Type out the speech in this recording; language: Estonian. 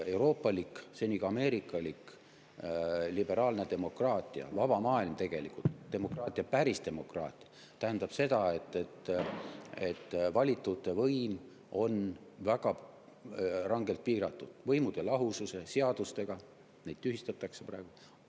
Euroopalik, seni ka ameerikalik liberaalne demokraatia, vaba maailm tegelikult, päris demokraatia tähendab seda, et valitute võim on väga rangelt piiratud võimude lahususe, seadustega – neid tühistatakse praegu!